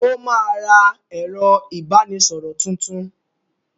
Ó máa ra ẹ̀rọ-ìbánisọ̀rọ̀ tuntun.